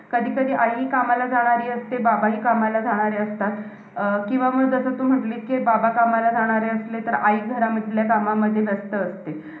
अन्नपदार्थाच्या रूपाने सेवन केलेल्या पंचभौतिक, चतुर्वेद, शिवप्रसादमग विविध अष्टवित, युरात्हामक व विषयंती गुना विन्तीक गुण युक्त आ आहाराचे अं अंतकोष्टातील जठरकांतील भौतिक अग्नीद्वारे